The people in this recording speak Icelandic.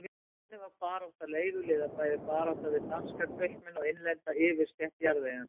Þannig var barátta leiguliða bæði barátta við danska kaupmenn og innlenda yfirstétt jarðeigenda.